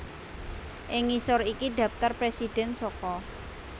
Ing ngisor iki dhaptar presidhèn saka